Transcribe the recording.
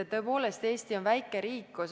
Tõepoolest, Eesti on väike riik.